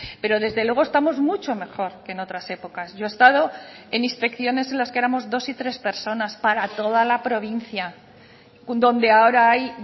pero desde luego estamos mucho mejor que en otras épocas yo he estado en inspecciones en las que éramos dos y tres personas para toda la provincia donde ahora hay